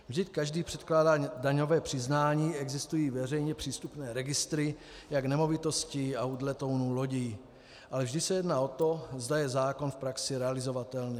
Vždyť každý předkládá daňové přiznání, existují veřejně přístupné registry jak nemovitostí, aut, letounů, lodí, ale vždy se jedná o to, zda je zákon v praxi realizovatelný.